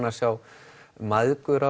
að sjá mæðgur